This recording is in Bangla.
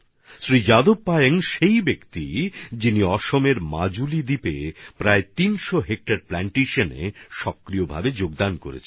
শ্রী যাদব পায়েং সেই ব্যক্তি যিনি আসামের মাজুলি দ্বীপে প্রায় ৩০০ হেক্টর বৃক্ষরোপণে সক্রিয়ভাবে অংশগ্রহণ করেছেন